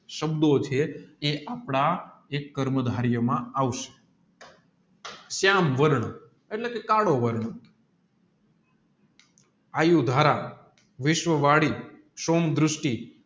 સંબધો છે એ આપણા જે કર્મ ધરિયો છે શ્યામ વારં એટલે કે કાળો વારં આયુ ધારા વિશ્વ વળી દૃષ્ટિ